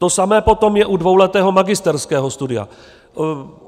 To samé je potom u dvouletého magisterského studia.